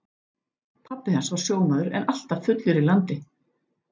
Pabbi hans var sjómaður en alltaf fullur í landi.